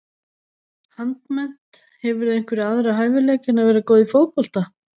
Handmennt Hefurðu einhverja aðra hæfileika en að vera góð í fótbolta?